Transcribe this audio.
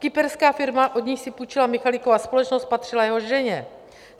Kyperská firma, od níž si půjčila Michalikova společnost, patřila jeho ženě.